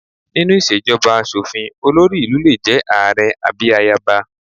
Nínú ìṣèjọba aṣòfin, olórí ìlú lè jẹ́ ààrẹ àbí ayaba